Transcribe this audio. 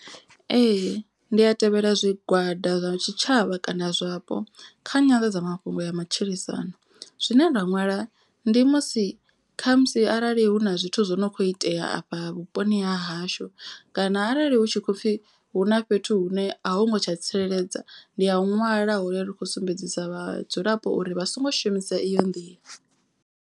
Ee ndi a tevhela zwigwada zwa tshitshavha kana zwapo kha nyanḓadzamafhungo ya matshilisano. Zwine nda nwala ndi musi khamusi arali hu na zwithu zwo no kho itea afha vhuponi ha hashu. Kana arali hu tshi khopfhi hu na fhethu hune a hu ngo tsha tsireledzea. Ndi ya ṅwala hone rikho sumbedzisa vhadzulapo uri vha songo shumisa iyo nḓila.